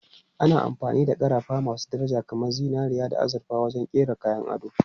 Ana amfani da ƙarafa masu daraja kamar zinariya da azurfa wajen kera kayan ado.